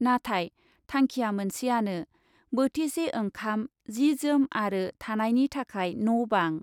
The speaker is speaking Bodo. नाथाय , थांखिया मोनसेयानो, बोथिसे ओंखाम, जि जोम आरो थानायनि थाखाय न' बां ।